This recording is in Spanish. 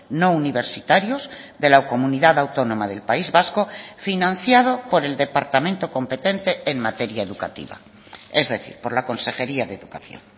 no universitarios de la comunidad autónoma del país vasco financiado por el departamento competente en materia educativa es decir por la consejería de educación